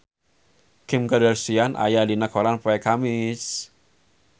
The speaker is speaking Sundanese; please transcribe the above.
Kim Kardashian aya dina koran poe Kemis